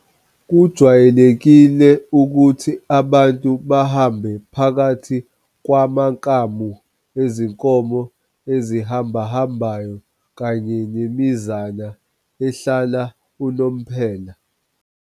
Kujwayelekile ukuthi abantu bahambe phakathi kwamakamu ezinkomo ezihambahambayo kanye nemizana ehlala unomphela.